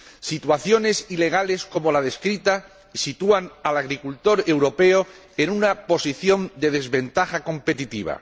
Situaciones ilegales como la descrita sitúan al agricultor europeo en una posición de desventaja competitiva.